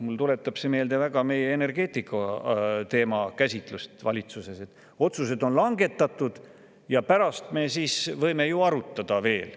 Mulle tuletab see meelde energeetika teema käsitlust valitsuses: otsused on langetatud ja pärast võime ju arutada veel.